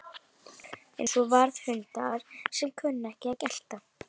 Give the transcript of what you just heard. Eins og varðhundar sem kunna ekki að gelta